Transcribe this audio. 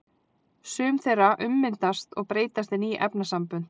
Sum þeirra ummyndast og breytast í ný efnasambönd.